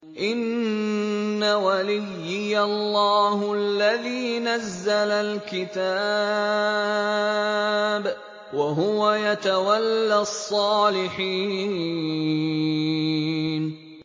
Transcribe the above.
إِنَّ وَلِيِّيَ اللَّهُ الَّذِي نَزَّلَ الْكِتَابَ ۖ وَهُوَ يَتَوَلَّى الصَّالِحِينَ